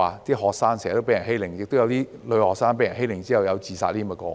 有學生經常被欺凌，亦曾出現女學生被欺凌後自殺的個案。